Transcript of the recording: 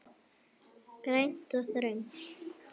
Grænt og þröngt.